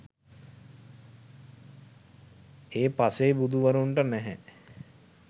ඒ පසේබුදුවරුන්ට නැහැ.